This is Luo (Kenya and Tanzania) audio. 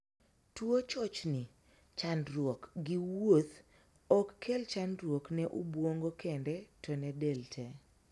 Tuo chochni (chandruok) gi wuoth ok kel chandruok ne obuongo kende to ne del tee.